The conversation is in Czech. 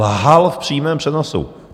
Lhal v přímém přenosu.